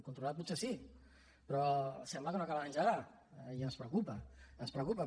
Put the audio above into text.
controlat potser sí però sembla que no acaba d’engegar i ens preocupa ens preocupa